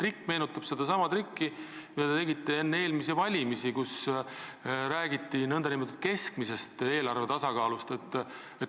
See meenutab sedasama trikki, mille te tegite enne eelmisi valimisi, rääkides nn keskmisest eelarve tasakaalust.